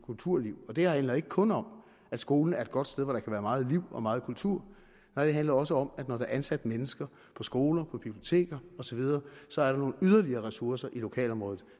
kulturliv det her handler ikke kun om at skolen er et godt sted hvor der kan være meget liv og meget kultur nej det handler også om at der når der er ansat mennesker på skoler på biblioteker osv så er nogle yderligere ressourcer i lokalområdet